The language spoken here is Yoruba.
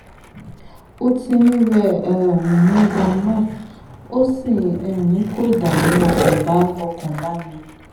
ó ti ń rẹ um mí ganan ó sì um ń kó ìdààmú ọkàn bá ọkàn bá mi